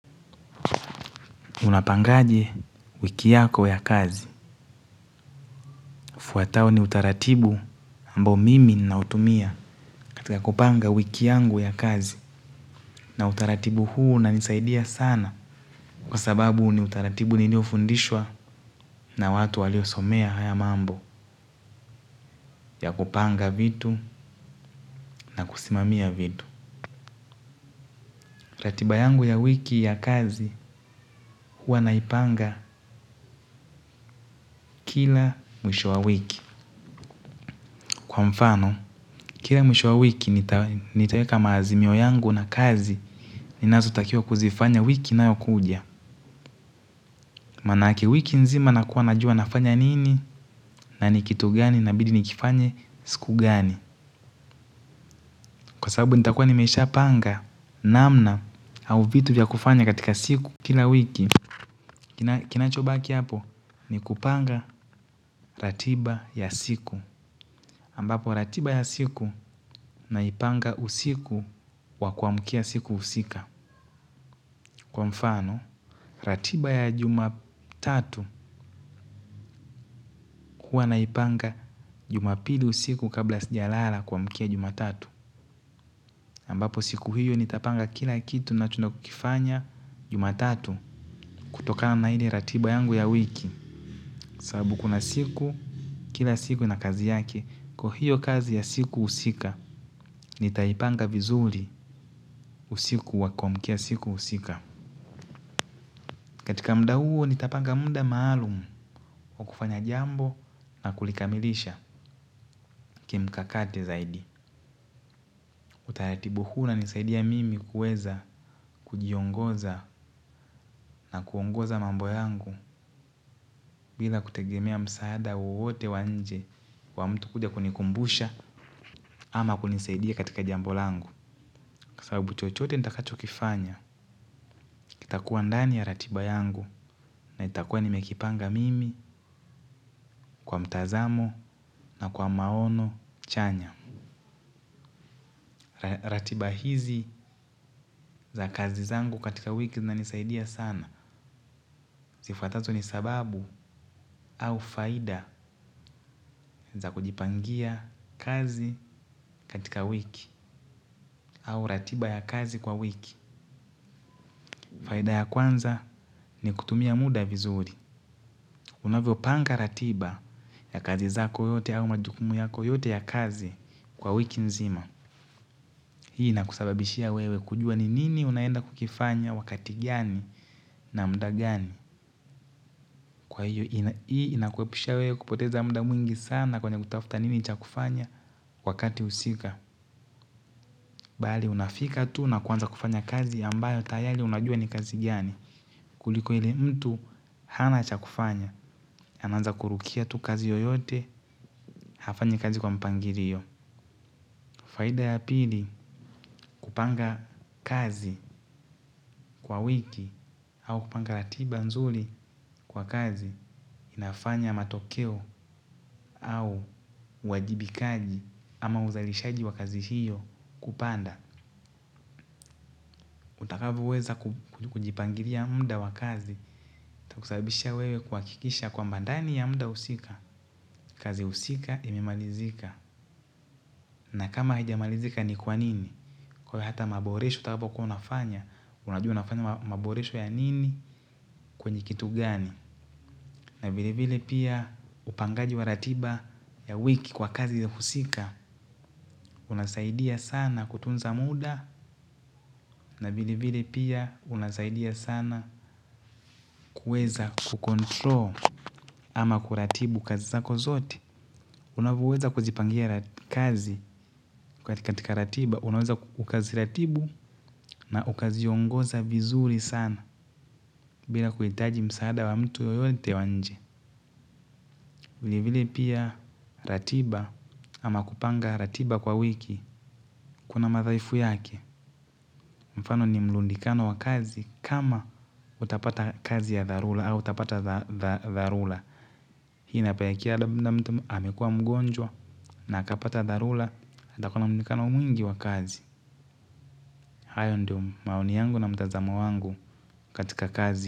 Unapangaje wiki yako ya kazi ufuatao ni utaratibu ambao mimi nautimia katika kupanga wiki yangu ya kazi. Na utaratibu huu unanisaidia sana. Kwa sababu ni utaratibu niliofundishwa na watu waliosomea haya mambo ya kupanga vitu na kusimamia vitu. Ratiba yangu ya wiki ya kazi huwa naipanga kila mwisho wa wiki. Kwa mfano, kila mwisho wa wiki nitaweka maazimio yangu na kazi ninazotakiwa kuzifanya wiki inayokuja. Maanake wiki nzima nakuwa najua nafanya nini na ni kitu gani inabidi nikifanye siku gani. Kwa sababu nitakuwa nimeshapanga namna au vitu vya kufanya katika siku kila wiki. Kinachobaki hapo ni kupanga ratiba ya siku. Ambapo ratiba ya siku naipanga usiku wa kuamkia siku husika. Kwa mfano, ratiba ya jumatatu huwa naipanga jumapili usiku kabla sijalala kuamkia jumatatu. Ambapo siku hiyo nitapanga kila kitu nacho nakukifanya jumatatu kutokana na ile ratiba yangu ya wiki. Sababu kuna siku, kila siku na kazi yake. Kwa hiyo kazi ya siku husika, nitaipanga vizuri usiku wa kuamkia siku husika. Katika muda huo, nitapanga muda maalumu wa kufanya jambo na kulikamilisha. Kimkakate zaidi. Taratibu huu unanisaidia mimi kuweza kujiongoza na kuongoza mambo yangu. Bila kutegemea msaada wowote wa nje wa mtu kuja kunikumbusha ama kunisaidia katika jambo langu sababu chochote nitakacho kifanya kitakuwa ndani ya ratiba yangu na nitakuwa nimekipanga mimi kwa mtazamo na maono chanya. Ratiba hizi za kazi zangu katika wiki zinanisaidia sana. Zifuatazo ni sababu au faida za kujipangia kazi katika wiki au ratiba ya kazi kwa wiki. Faida ya kwanza ni kutumia muda vizuri. Unavyopanga ratiba ya kazi zako yote au majukumu yako yote ya kazi kwa wiki nzima. Hii inakusababishia wewe kujua ni nini unaenda kukifanya wakati gani na muda gani. Kwa hiyo, hii inakuepusha wewe kupoteza muda mwingi sana kwenye kutafuta nini cha kufanya wakati husika. Bali, unafika tu na kuanza kufanya kazi ambayo tayari unajua ni kazi giani. Kuliko ile mtu, hana cha kufanya. Anaanza kurukia tu kazi yoyote, hafanyi kazi kwa mpangilio. Faida ya pili, kupanga kazi kwa wiki au kupanga ratiba nzuri kwa kazi. Inafanya matokeo au uwajibikaji ama uzalishaji wa kazi hiyo kupanda utakavyoweza kujipangilia muda wa kazi itakusabisha wewe kuhakikisha kwamba ndani ya muda husika kazi husika imemalizika na kama hijamalizika ni kwa nini kwa hata maboresho itakapo kuwa unafanya unajua unafanya maboresho ya nini kwenye kitu gani na vile vile pia upangaji wa ratiba ya wiki kwa kazi ya husika. Unasaidia sana kutunza muda na vilevile pia unasaidia sana kueza kucontrol ama kuratibu kazi zako zote. Unavyoweza kuzipangia kazi katika ratiba unaweza ukaziratibu na ukaziongoza vizuri sana bila kuhitaji msaada wa mtu yoyote wa nje. Vilivile pia ratiba ama kupanga ratiba kwa wiki. Kuna madhaifu yake. Mfano ni mrudikano wa kazi kama utapata kazi ya dharura. Hii inapelekea labda mtu amekua mgonjwa na akapata dharura. Atakuwa na mrudikano mwingi wa kazi. Hayo ndio maoni yangu na mtazamo wangu katika kazi.